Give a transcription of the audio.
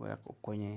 wek okonye